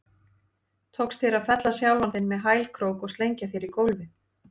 Tókst þér að fella sjálfan þig með hælkrók og slengja þér í gólfið?